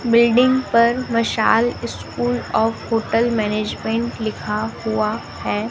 Building पर Mashal school of hotel management लिखा हुआ है।